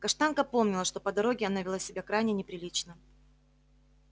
каштанка помнила что по дороге она вела себя крайне неприлично